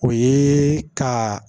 O ye ka